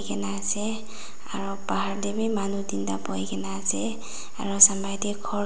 ase aro bahar tae bi manu teen tae buhikae na ase aro sumnae de khor--